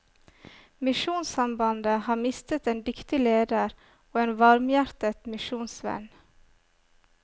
Misjonssambandet har mistet en dyktig leder og en varmhjertet misjonsvenn.